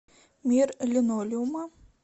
мир линолеума